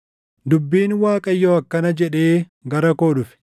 Dubbiin Waaqayyoo akkana jedhee gara koo dhufe: